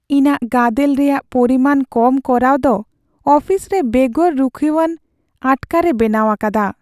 ᱤᱧᱟᱹᱜ ᱜᱟᱫᱮᱞ ᱨᱮᱭᱟᱜ ᱯᱚᱨᱤᱢᱟᱱ ᱠᱚᱢ ᱠᱚᱨᱟᱣ ᱫᱚ ᱚᱯᱷᱤᱥ ᱨᱮ ᱵᱮᱜᱚᱨ ᱨᱩᱠᱷᱤᱭᱟᱹᱣᱟᱱ ᱟᱴᱠᱟᱨᱮ ᱵᱮᱱᱟᱣ ᱟᱠᱟᱫᱟ ᱾